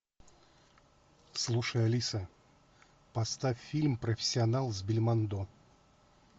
слушай алиса поставь фильм профессионал с бельмондо